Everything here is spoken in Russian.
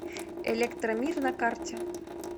электромир на карте